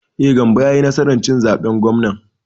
E, Gambo ya yi nasar cin zaben gwamnan.